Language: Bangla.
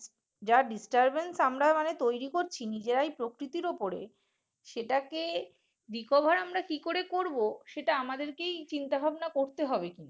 যা disturbence আমরা মানে তৈরি করছি নিজেরা এই প্রকৃতির উপরে সেটাকে recover আমরা কি করে করব সেটা আমাদেরকেই চিন্তাভাবনা করতে হবে কিন্তু।